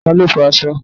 Ta ló fo aṣọ?